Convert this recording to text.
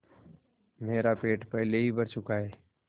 मेरा पेट पहले ही भर चुका है